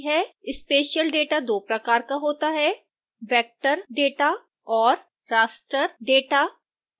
spatial data दो प्रकार का होता है vector data और raster data